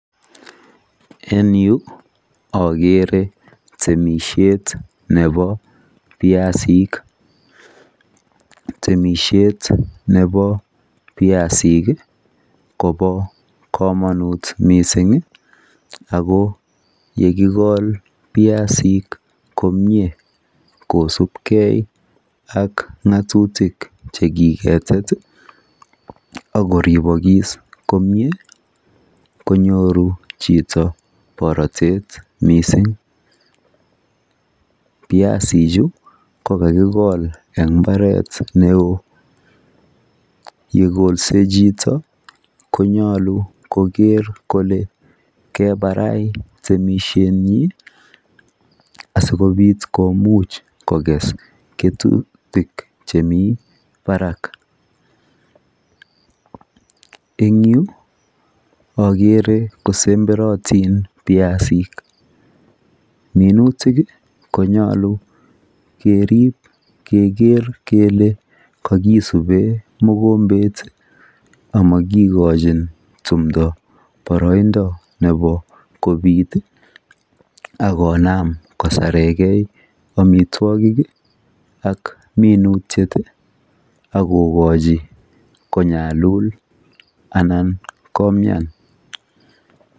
En yu akeere temisiet nebo biasik. Temisiet nebo biasik kobo komonut mising ako yekikol biasik komie kosubkei ak ng'atutik chekiketet akoriibokis komie konyoru chito borotet neo. Biasichu ko kakikol eng mbaret neo Yekolse chito konyolu koker kole kebarai temisiet asikomuch kokes kesutik chemi barak. Eng yu akeere kosemberotin biasik. Minutik konyolu keriib keker kele kokisubee mokombet amakikojin tumdo boroindo nebo kobiit akoonam kosarekei amitwogik ak minutik akookoji konyalul anan komian.